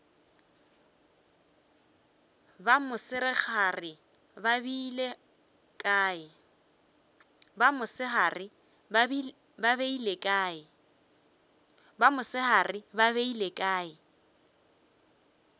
ba mosegare ba beile kae